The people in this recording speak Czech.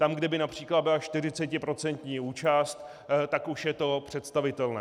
Tam, kde by například byla 40% účast, už je to představitelné.